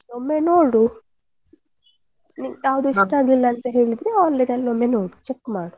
ಒಮ್ಮೆ ನೋಡು ನಿ~ ಯಾವುದು ಇಷ್ಟ ಆಗಿಲ್ಲ ಅಂದ್ರೆ ಹೇಳಿದ್ರೆ online ನಲ್ಲಿ ಒಮ್ಮೆ ನೋಡು check ಮಾಡು.